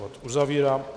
Bod uzavírám.